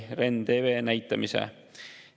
, REN TV näitamise.